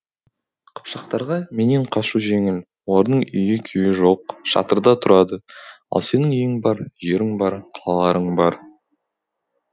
қыпшақтарға менен қашу жеңіл олардың үйі күйі жоқ шатырда тұрады ал сенің үйің бар жерің бар қалаларың бар